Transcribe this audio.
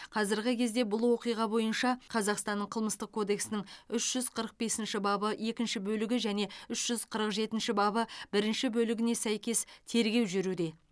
қазіргі кезде бұл оқиға бойынша қазақстанның қылмыстық кодексінің үш жүз қырық бесінші бабы екінші бөлігі және үш жүз қырық жетінші бабы бірінші бөлігіне сәйкес тергеу жүруде